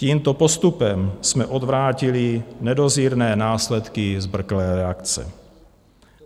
Tímto postupem jsme odvrátili nedozírné následky zbrklé reakce.